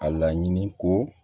A laɲini ko